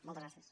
moltes gràcies